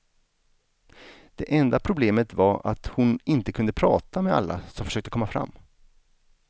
Det enda problemet var att hon inte kunde prata med alla som försökte komma fram.